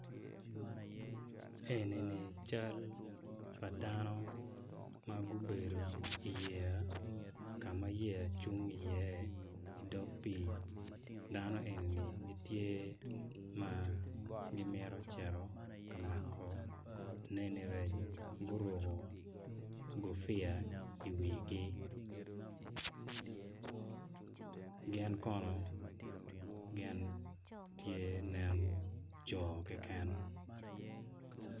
Eni ni cal pa dano ma gubedo i yeya ka ma yeya cung iye i dog pii dano eni gitye dano eni gitye ma gimito cito ka mako neni rec. Guruko gufia i wigi gin kono gin tye nen coo keken.